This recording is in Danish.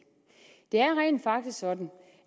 det er rent faktisk sådan